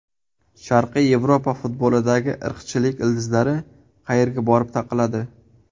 Sharqiy Yevropa futbolidagi irqchilik ildizlari qayerga borib taqaladi?